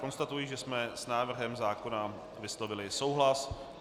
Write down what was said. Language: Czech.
Konstatuji, že jsme s návrhem zákona vyslovili souhlas.